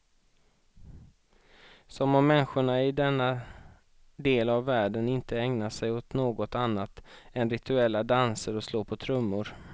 Som om människorna i denna del av världen inte ägnar sig åt något annat än rituella danser och slå på trummor.